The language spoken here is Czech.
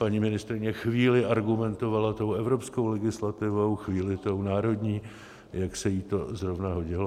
Paní ministryně chvíli argumentovala tou evropskou legislativou, chvíli tou národní, jak se jí to zrovna hodilo.